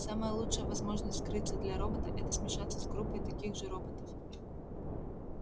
самая лучшая возможность скрыться для робота это смешаться с группой таких же роботов